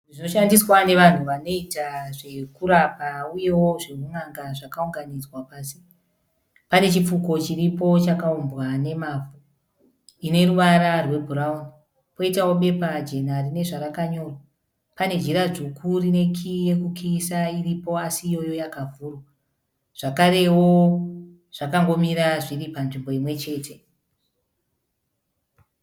Zvinoshandiswa nevanhu vanoita zvekuramba uyewo zveun'anga zvakaunganidzwa pasi. Panechipfuko chiripo chakumbwa nemavhu chineruvara rwebhurauni poitawobepa jena rinezvarakanyorwa. Pane jira dzvuku rinekiii yekukiyisa asi yakavhurwa. Zvakarewo zvakangomira zviri panzvimbo imwe chete.